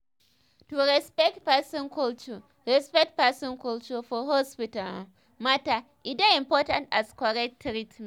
to respect person culture respect person culture for hospital um matter e dey important as correct treatment